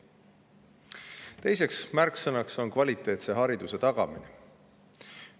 Teine märksõna on kvaliteetse hariduse tagamine.